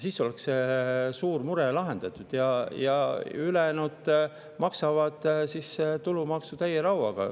Siis oleks suur mure lahendatud ja ülejäänud maksaks tulumaksu täie rauaga.